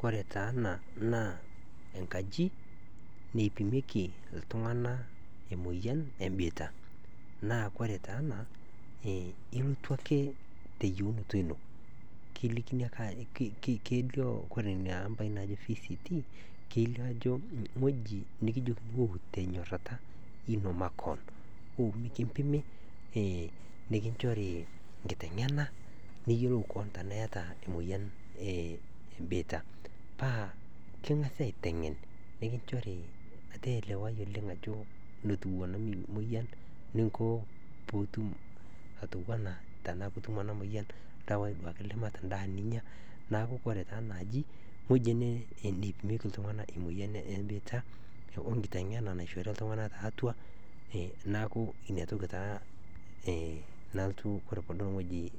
Koree taa ena na enkaji neipimieki ltunganak emoyian ebitia, na ore kore taa naa na ilotu ake teyienuto ino, kelikini ake ore inaamba naji vct nikijokini wou tenyorara ino makeon, wou mekimpimj nikinchori nkitengena nikilikini tanaa iyataemoyian e bitia, paa kingasai aitengen nikinchori elewai oleng enamoyian niko peitim enamoyian, tanaa endaa ninya, neaku ewoi ena naipimieki emoyian ebitia we nkitengena naishi ltunganak le bitia neaku ore padol ewueji